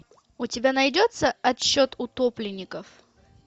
у тебя найдется отсчет утопленников